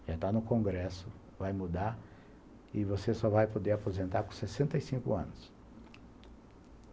Já está no Congresso, vai mudar e você só vai poder aposentar com sessenta e cinco anos.